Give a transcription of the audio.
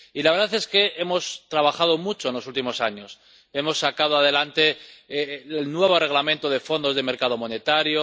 Y la verdad es que hemos trabajado mucho en los últimos años hemos sacado adelante el nuevo Reglamento sobre fondos del mercado monetario